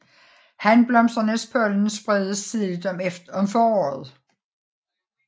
Hanblomsternes pollen spredes tidligt om foråret